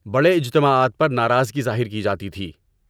بڑے اجتماعات پر ناراضی ظاہر کی جاتی تھی۔